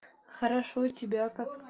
хорошо у тебя как